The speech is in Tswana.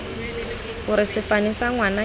gore sefane sa ngwana se